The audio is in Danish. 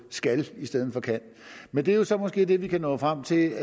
skal i stedet for kan men det er jo så måske det vi kan nå frem til